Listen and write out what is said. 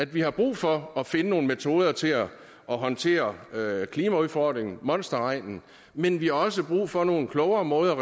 vi har brug for at finde nogle metoder til at håndtere klimaudfordringen monsterregnen men vi har også brug for nogle klogere måder